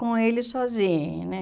Com ele sozinho, né?